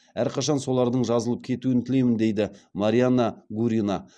әрқашан солардың жазылып кетуін тілеймін дейді марианна гурина